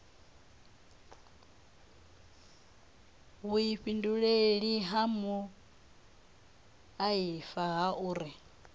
vhuifhinduleli ha muaifa ha uri